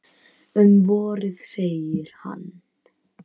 Um vorið, segir hann.